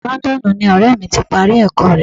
Londonu ni ọrẹ mi ti parí ẹ̀kọ́ rè.